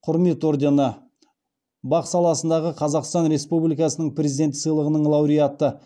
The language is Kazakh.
құрмет ордені бақ саласындағы қазақстан республикасының президенті сыйлығының лауреаты